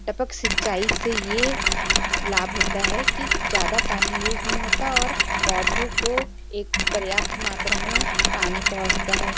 टपक सिंचाई से ये लाभ होता है कि ज्यादा पानी यूज नहीं होता और पौधों को एक पर्याप्त मात्रा में पानी पोहोचता हैं।